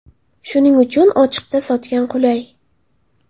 Shuning uchun ochiqda sotgan qulay.